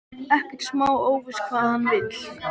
Ekkert smá óviss hvað hann vill.